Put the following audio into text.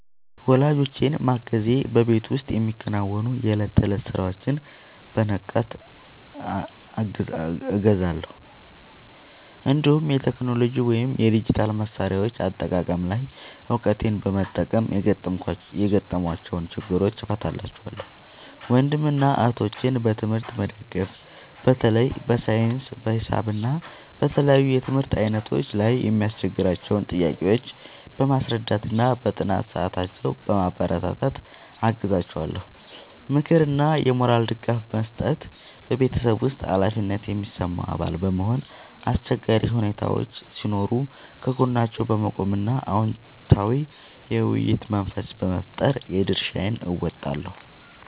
ወላጆቼን ማገዝ በቤት ውስጥ የሚከናወኑ የዕለት ተዕለት ሥራዎችን በንቃት እገዛለሁ፤ እንዲሁም የቴክኖሎጂ ወይም የዲጂታል መሣሪያዎች አጠቃቀም ላይ እውቀቴን በመጠቀም የገጠሟቸውን ችግሮች እፈታላቸዋለሁ። ወንድምና እህቶቼን በትምህርት መደገፍ በተለይ በሳይንስ፣ በሂሳብ እና በተለያዩ የትምህርት ዓይነቶች ላይ የሚያስቸግሯቸውን ጥያቄዎች በማስረዳትና በጥናት ሰዓታቸው በማበረታታት አግዛቸዋለሁ። ምክርና የሞራል ድጋፍ መስጠት በቤተሰብ ውስጥ ኃላፊነት የሚሰማው አባል በመሆን፣ አስቸጋሪ ሁኔታዎች ሲኖሩ ከጎናቸው በመቆም እና አዎንታዊ የውይይት መንፈስ በመፍጠር የድርሻዬን እወጣለሁ።